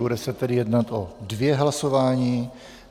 Bude se tedy jednat o dvě hlasování.